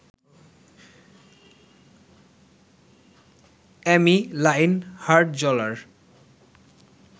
অ্যামি Lynn Hartzler